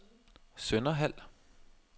Sønderhald